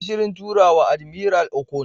Kayi Shirin turawa, Admiral Okon,